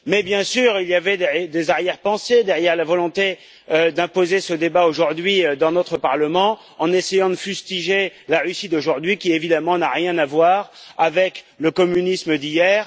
Mais bien sûr il y avait des arrière pensées derrière la volonté d'imposer ce débat aujourd'hui, dans notre Parlement, en essayant de fustiger la Russie d'aujourd'hui, qui évidemment n'a rien à voir avec le communisme d'hier.